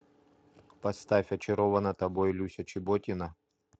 поставь очарована тобой люся чеботина